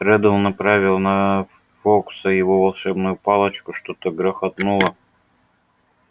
реддл направил на фоукса его волшебную палочку что-то грохотнуло